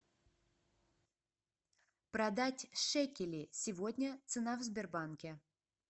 продать шекели сегодня цена в сбербанке